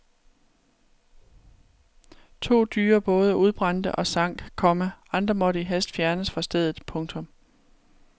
To dyre både udbrændte og sank, komma andre måtte i hast fjernes fra stedet. punktum